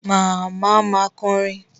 Màmá ma kọrin.